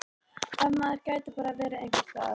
Ef maður gæti bara verið einhvers staðar.